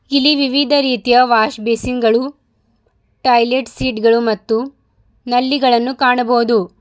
ಇಲ್ಲಿ ವಿವಿಧ ರೀತಿಯ ವಾಶ್ ಬೇಷನ್ಗಳು ಟಾಯ್ಲೆಟ್ ಸೀಟ್ ಗಳು ಮತ್ತು ನಲ್ಲಿಗಳನ್ನು ಕಾಣಬಹುದು.